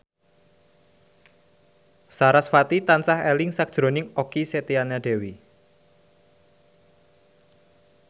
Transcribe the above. sarasvati tansah eling sakjroning Okky Setiana Dewi